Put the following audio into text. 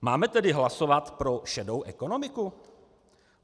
Máme tedy hlasovat pro šedou ekonomiku?